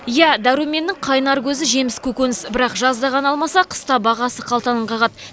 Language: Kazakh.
иә дәруменнің қайнар көзі жеміс көкөніс бірақ жазда ғана алмаса қыста бағасы қалтаны қағады